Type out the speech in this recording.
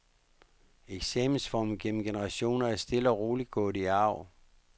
Eksamensformen gennem generationer er stille og roligt gået i arv.